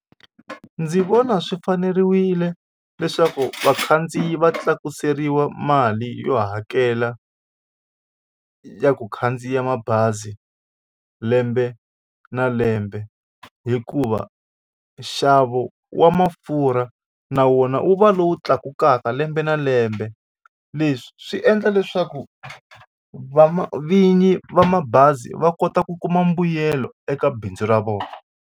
Ndzi vona swi faneriwile leswaku vakhandziyi va tlakuseriwa mali yo hakela ya ku khandziya mabazi lembe na lembe hikuva nxavo wa mafurha na wona wu va lowu tlakukaka lembe na lembe leswi swi endla leswaku va ma vinyi va mabazi va kota ku kuma mbuyelo eka bindzu ra vona.